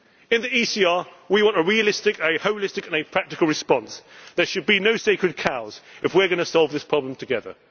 claim. In the ECR, we want a realistic, holistic and practical response. There should be no sacred cows if we are going to solve this problem